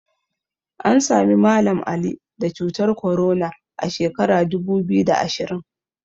An Sami Mallam Ali da cutar korona a sheka dubu biyu da ashirin